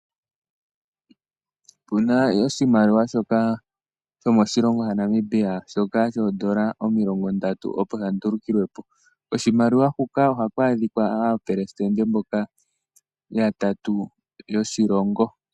Opuna oshimaliwa shoka shomoshilongo shaNamibia shoka shoondola omilongo Ndatu opo sha ndulukilwe po. Koshimaliwa huka oha ku adhika aapelesitende mboka yatatu yoshilongo.